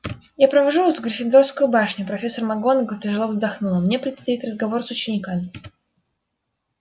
я провожу вас в гриффиндорскую башню профессор макгонагалл тяжело вздохнула мне предстоит разговор с учениками